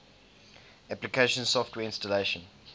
application software installation